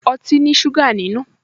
Ọtí ní ṣúgà nínú